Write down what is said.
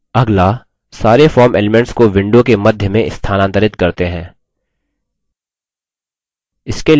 अगला सारे form elements को window के मध्य में स्थानांतरित करते हैं